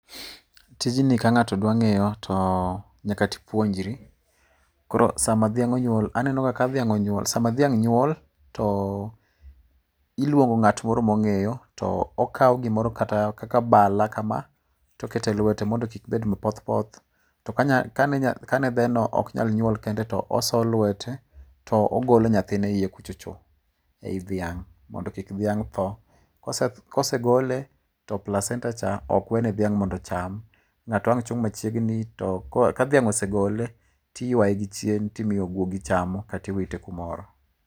Tijni ka ng'ato dwa ng'eyo to nyaka tipuonjri. Koro sama dhiang' onyuol, aneno ga ka dhiang' onyuol, sama dhiang' nyuol toh, iluongo ng'at moro mo ng'eyo, okawo gimoro kaka bala kama, to oketo elwete mondo kik bed mapoth poth. To kane ka kane dheno ok nyal nyuol kende to oso lwete to ogolo nyathine iye kucho cho, ei dhiang' mondo kik dhiang' tho. Kosegole, [cs[ placenta, ok we ne dhiang' mondo dhiang' ocham. Ka dhiang' ose gole to iywaye gi chien to imiyo guogi chamon kata imiyo guogi chamo kata iwite kumoro.